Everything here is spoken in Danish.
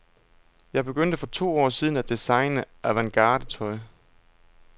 Jeg begyndte for to år siden at designe avantgardetøj.